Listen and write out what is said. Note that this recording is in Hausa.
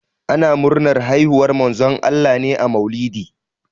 Ana murnar haihuwar Manzon Allah ne a maulidi.